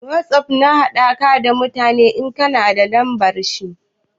Wosof na haɗa ka da mutum ne in ka na da lambar shi.